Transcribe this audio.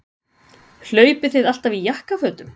Hlaupið þið alltaf í jakkafötum?